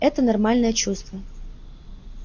это нормальное чувство